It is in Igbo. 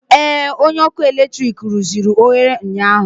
Ee, onye ọkụ eletrik rụziri oghere ụnyaahụ